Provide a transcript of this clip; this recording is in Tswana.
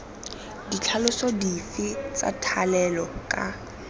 ditlhaloso dife tsa thalelo ka